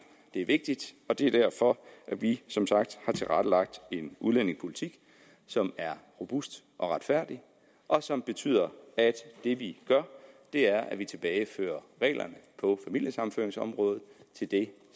det er vigtigt og det er derfor at vi som sagt har tilrettelagt en udlændingepolitik som er robust og retfærdig og som betyder at det vi gør er at vi tilbagefører reglerne på familiesammenføringsområdet til det